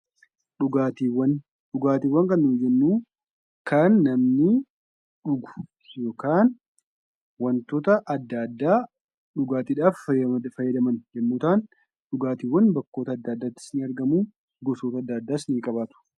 Dhugaatiiwwan. Dhugaatiiwwan kannnuti jennu kan namni dhugu yookaan wantoota adda addaa dhugaatiidhaaf fayyadan yoo ta'an, dhugaatiiwwan bakka adda addaatri ni argamu; gosa gara garaas ni qabu.